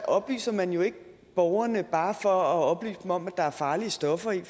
oplyser man jo ikke borgerne bare for at oplyse dem om at der er farlige stoffer i